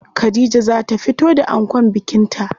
Khadija za ta fito da ankon bikin ta.